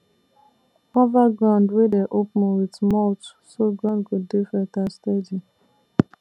cover ground wey dey open with mulch so ground go dey fertile steady